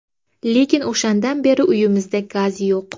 Lekin o‘shandan beri uyimizda gaz yo‘q.